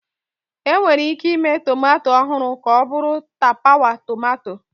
Enwere ike ịme tomato ọhụrụ ka ọ bụrụ tapawa tomato